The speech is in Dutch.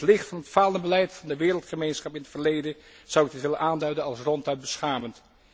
In het licht van het falende beleid van de wereldgemeenschap in het verleden zou ik dit willen aanduiden als ronduit beschamend.